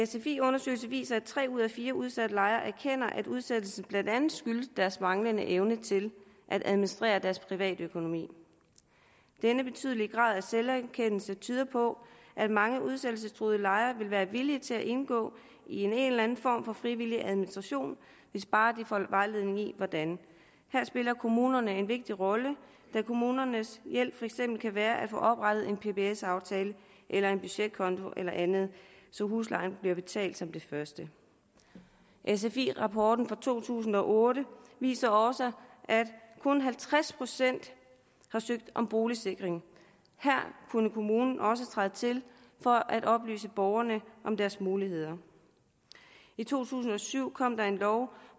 sfi undersøgelse viser at tre ud af fire udsatte lejere erkender at udsættelsen blandt andet skyldes deres manglende evne til at administrere deres privatøkonomi denne betydelige grad af selverkendelse tyder på at mange udsættelsestruede lejere vil være villige til at indgå i en eller anden form for frivillig administration hvis bare de får vejledning i hvordan her spiller kommunerne en vigtig rolle da kommunernes hjælp for eksempel kan være at få oprettet en pbs aftale eller en budgetkonto eller andet så huslejen bliver betalt som det første sfi rapporten fra to tusind og otte viser også at kun halvtreds procent har søgt om boligsikring her kunne kommunen også træde til for at oplyse borgerne om deres muligheder i to tusind og syv kom der en lov